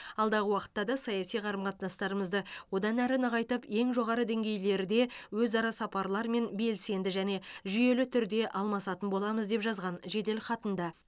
алдағы уақытта да саяси қарым қатынастарымызды одан әрі нығайтып ең жоғары деңгейлерде өзара сапарлармен белсенді және жүйелі түрде алмасатын боламыз деп жазған жеделхатында